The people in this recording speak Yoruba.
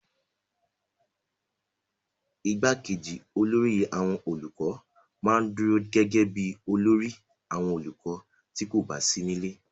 igbákejì olórí àwọn olùkọ́ ma ń dúró gẹ́gẹ́ bíi olórí àwọn olùkọ́ tí kò bá sí nílé